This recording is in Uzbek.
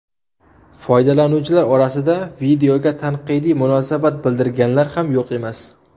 Foydalanuvchilar orasida videoga tanqidiy munosabat bildirganlar ham yo‘q emas.